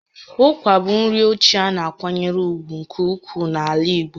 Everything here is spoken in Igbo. Ụkwa bụ nri ochie a na-akwanyere ùgwù nke ukwuu n'ala Igbo